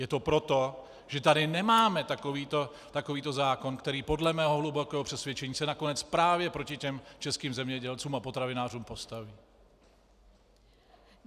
Je to proto, že tady nemáme takovýto zákon, který podle mého hlubokého přesvědčení se nakonec právě proti těm českým zemědělcům a potravinářům postaví.